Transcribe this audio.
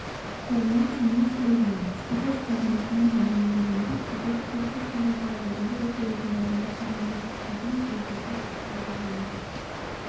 қорғаныс министрлігінің баспасөз қызметінен мәлімдегендей кадет корпусында да жоғары оқу орындарында да мамандықтардың тізбесі қайта әзірленді